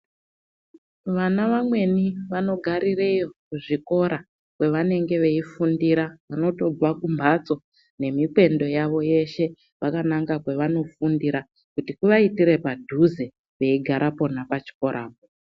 Vana vamweni vanogarireyo kuzvikora kwavanenge veifundira unotobve kumhatso nemikwendo yavo yeshe vakananga kwavanofundira. Kuti kuvaitire padhuze veigara pona pachikorapo.